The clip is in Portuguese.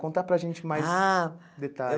Contar para gente mais ah detalhes.